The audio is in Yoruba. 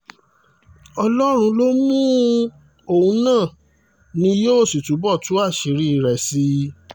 ọlọ́run ló mú un òun náà ni yóò sì túbọ̀ tú àṣírí rẹ̀ sí i